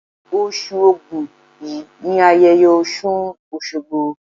Osù Ògún yìí ni ayẹyẹ Ọ̀ṣùn Òṣogbo.